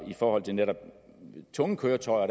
i forhold til netop tunge køretøjer